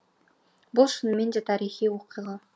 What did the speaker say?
бұл шынымен де тарихи оқиға